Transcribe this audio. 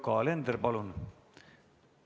Yoko Alender, palun!